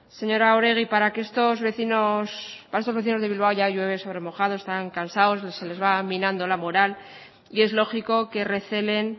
señora oregi para que estos vecinos para estos de bilbao ya llueve sobre mojado están cansados se les va minando la moral y es lógico que recelen